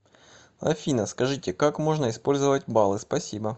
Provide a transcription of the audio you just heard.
афина скажите как можно использовать баллы спасибо